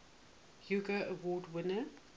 hugo award winner